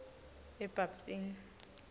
ebabtini